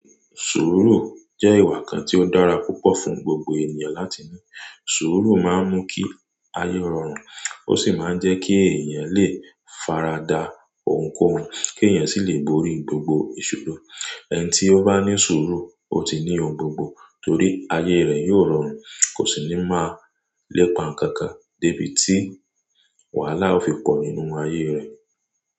Sùúrù jẹ́ ìwà kan tí ó dára púpọ̀ fún gbogbo ènìyàn láti ní. Sùúrù máa ń mú kí ayé rọrùn, ó sì máa ń jẹ́ kí èèyàn lè farada ohunkóhun, kí èèyàn sì lè borí gbogbo ìṣòro. Ẹni tí ó bá ní sùúrù, ó ti ní ohun gbogbo torí ayé rẹ̀ yóò rọrùn kò sì ní máa lépa nǹkan kan dé bí tí wàhálà ó fi pọ̀ nínú ayé rẹ̀.